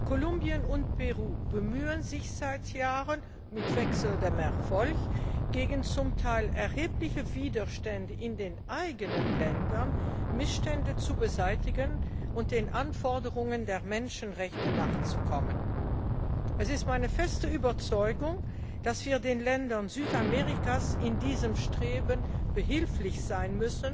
Kolumbien und Peru bemühen sich seit Jahren mit wechselndem Erfolg gegen zum Teil erhebliche Widerstände in den eigenen Ländern, Missstände zu beseitigen und den Anforderungen der Menschenrechte nachzukommen. Es ist meine feste Überzeugung, dass wir den Ländern Südamerikas in diesem Streben behilflich sein